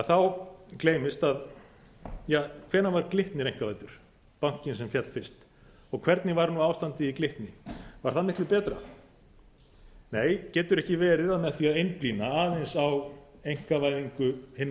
þá gleymist að ja hvenær var glitnir einkavæddur bankinn sem féll fyrst og hvernig var ástandið í glitni var það miklu betra nei getur ekki verið að með því að einblína aðeins á einkavæðingu hinna